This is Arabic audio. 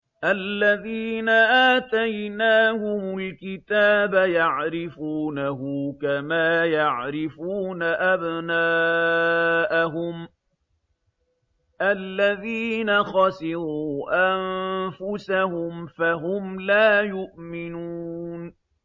الَّذِينَ آتَيْنَاهُمُ الْكِتَابَ يَعْرِفُونَهُ كَمَا يَعْرِفُونَ أَبْنَاءَهُمُ ۘ الَّذِينَ خَسِرُوا أَنفُسَهُمْ فَهُمْ لَا يُؤْمِنُونَ